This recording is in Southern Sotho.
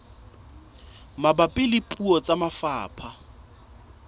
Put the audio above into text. mabapi le puo tsa lefapha